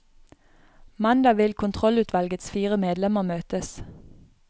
Mandag vil kontrollutvalgets fire medlemmer møtes.